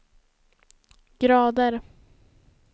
grader